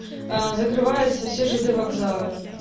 а закрываются все жд вокзалы